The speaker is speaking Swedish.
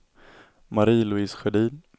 Marie-Louise Sjödin